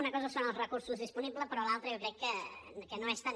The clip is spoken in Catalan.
una cosa són els recursos disponibles però l’altra jo crec que no és tant